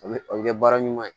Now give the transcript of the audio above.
A bɛ a bɛ kɛ baara ɲuman ye